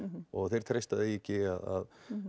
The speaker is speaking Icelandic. og þeir treysta því ekki að